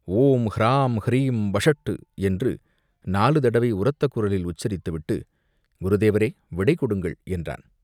"ஓம் ஹ்ராம் ஹ்ரீம் வஷட்டு" என்று நாலு தடவை உரத்த குரலில் உச்சரித்துவிட்டு, "குருதேவரே விடை கொடுங்கள்" என்றான்.